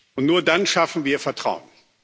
Und nur dann schaffen wir Vertrauen.